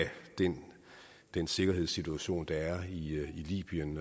den den sikkerhedssituation der er i libyen